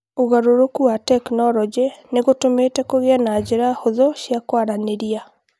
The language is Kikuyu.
ũgarũrũku wa tekinolonjĩ ni gũtũmĩte kũgĩe na njĩra hũthũ cia kwaranĩria